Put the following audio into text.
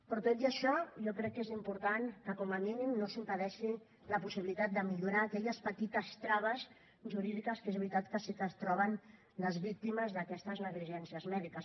però tot i això jo crec que és important que com a mínim no s’impedeixi la possibilitat de millorar aquelles petites traves jurídiques que és veritat que sí que es troben les víctimes d’aquestes negligències mèdiques